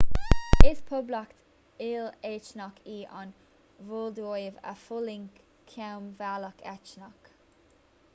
is poblacht il-eitneach í an mholdóiv a d'fhulaing coinbhleacht eitneach